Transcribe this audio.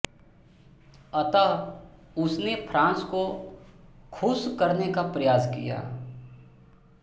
अतः उसने फ्रांस को खुश करने का प्रयास किया